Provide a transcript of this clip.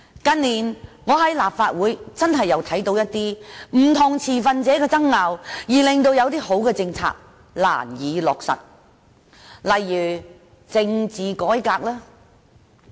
近年，我在立法會確實聽到不同持份者的爭拗，以致一些良好的政策難以落實，例如政治改革。